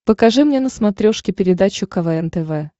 покажи мне на смотрешке передачу квн тв